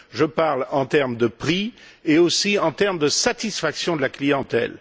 Je parle en termes de prix et aussi en termes de satisfaction de la clientèle.